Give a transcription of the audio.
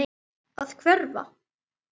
Að hverfa.